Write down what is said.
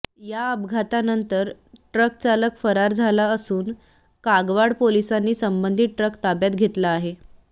या अपघातानंतर ट्रक चालक फरार झाला असून कागवाड पोलिसांनी संबंधित ट्रक ताब्यात घेतला आहे